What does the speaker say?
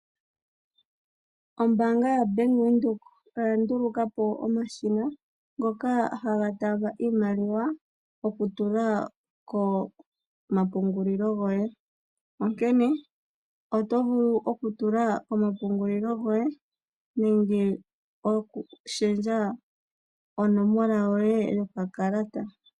Ombaanga yoBank Windhoek oyandulukapo omashina ngoka haga taamba iimaliwa, okutula komapungulilo goye. Onkene oto vulu okutula komapungulilo goye, nenge okushendja onomola yoye yokakalata.